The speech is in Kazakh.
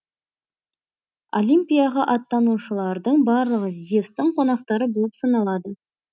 олимпияға аттанушылардың барлығы зевстің қонақтары болып саналады